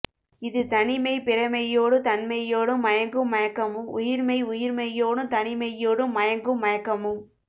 இது தனி மெய் பிறமெய்யோடுந் தன்மெய்யோடும் மயங்கும் மயக்கமும் உயிர்மெய் உயிர்மெய்யோடுந் தனி மெய்யோடும் மயங்கும் மயக்கமுங்